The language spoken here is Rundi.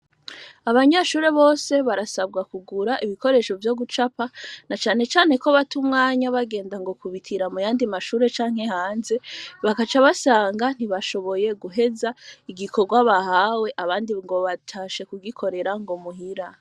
Abanyeshure bose, barasabwa kugura ibikoresho vyo gucapa; na cane cane ko, bata umwanya, bagenda ngo kubitira, mu yandi mashure, canke hanze; bakaca basanga, ntibashoboye guheza, igikorwa bahawe, abandi ngo, batashe kugikorera, ngo muhira.